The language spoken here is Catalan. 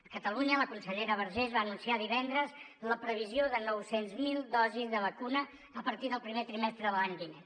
a catalunya la consellera vergés va anunciar divendres la previsió de nou cents miler dosis de vacuna a partir del primer trimestre de l’any vinent